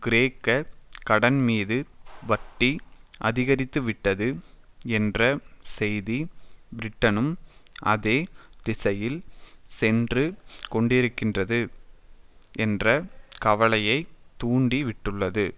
கிரேக்க கடன்மீது வட்டி அதிகரித்துவிட்டது என்ற செய்தி பிரிட்டனும் அதே திசையில் சென்று கொண்டிருக்கிறது என்ற கவலையை தூண்டிவிட்டுள்ளது